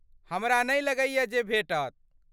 हमरा नै लगैए जे भेटत।